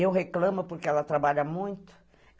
Eu reclamo porque ela trabalha muito.